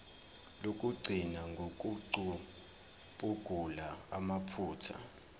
lokugcina ngokucubungula amaphutha